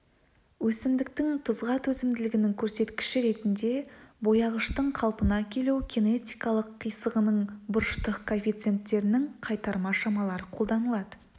өсімдіктің тұзға төзімділігінің көрсеткіші ретінде бояғыштың қалпына келу кинетикалық қисығының бұрыштық коэффиценттерінің қайтарма шамалары қолданылды